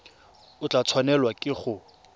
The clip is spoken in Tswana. o tla tshwanelwa ke go